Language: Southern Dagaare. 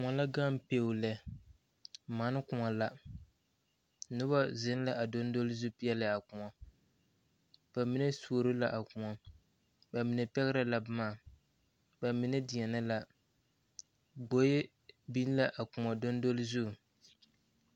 Kõɔ la gaŋ pɛo lɛ mane kõɔ la noba zeŋ la dondole zu peɛle a kõɔ ba mine suoro la a kõɔ ba mine pɛgrɛ la boma ba mine deɛnɛ la gboe biŋ la a kõɔ dondole zu.